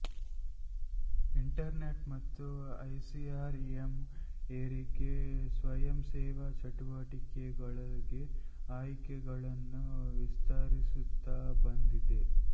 internet ಮತ್ತು E C R M ಏರಿಕೆ ಸ್ವಯಂ ಸೇವಾ ಚಟುವಟಿಕೆಗಳಿಗೆ ಆಯ್ಕೆಗಳನ್ನು ವಿಸ್ತರಿಸುತ್ತಾ ಬಂದಿದೆ